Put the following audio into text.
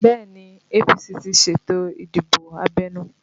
Bẹẹ ni, APC ti ṣètò ìdìbò abẹ́nú